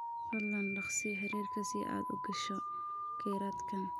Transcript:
Fadlan dhagsii xiriirka si aad u gasho kheyraadkan.